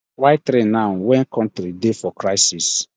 why three now wen economy dey for crisis